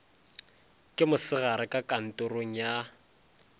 ke mosegare ka kantorong ya